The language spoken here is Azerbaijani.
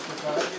Qoy qoyaq.